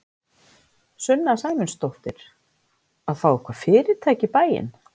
Sunna Sæmundsdóttir: Að fá eitthvað fyrirtæki í bæinn?